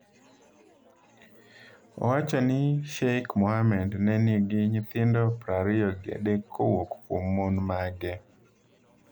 Owacho ni Sheikh Mohammed ne nigi nyithindo prariyo gi adek kowuok kuom mon mage.